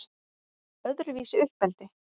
Öðruvísi uppeldi